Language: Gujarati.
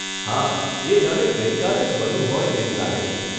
હા, એ જાણે ગઇ કાલે જ બન્યું હોય એવું લાગે છે.